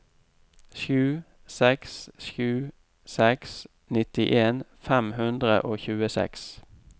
sju seks sju seks nittien fem hundre og tjueseks